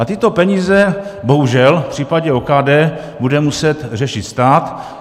A tyto peníze bohužel v případě OKD bude muset řešit stát.